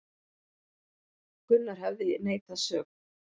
Gunnar hefði neitað sök